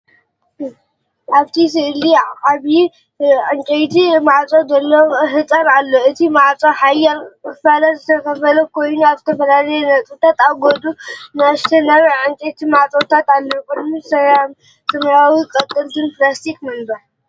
ኣብቲ ስእሊዓቢይ ዕንጨይቲ ማዕጾ ዘለዎ ህንጻ ኣሎ። እቲ ማዕጾ ኣብ ሓያሎ ክፋላት ዝተኸፋፈለ ኮይኑ፡ ኣብ ዝተፈላለየ ነጥብታት ኣብ ጎድኑ ንኣሽቱ ናይ ዕንጨይቲ ማዕጾታት ኣለዉ። ኣብ ቅድሚት ሰማያውን ቀጠልያን ፕላስቲክ መንበር ኣሎ።